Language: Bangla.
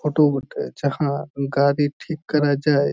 ফটো বটে যাহা গাড়ি ঠিক করা যায়।